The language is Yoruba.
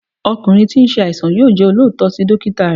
ọkunrin tí n se àìsàn yóò jẹ́ olóòótọ́ sí dókítà rẹ̀